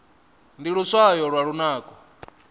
ndi luswayo lwa lunako